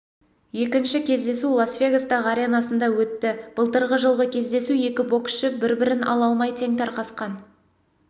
екінші кездесу лас вегастағыі аренасында өтті былтырғы жылғы кездесу екі боксшы бір-бірін ала амай тең тарқасқан